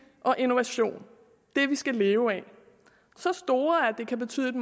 og innovation det vi skal leve af så store at det kan betyde et